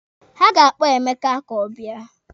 Ha ga-akpọ Emeka ka ọ bịa.